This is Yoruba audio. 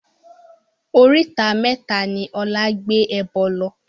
Oríta mẹ́ta ni Ọlá gbé ẹbọ lọ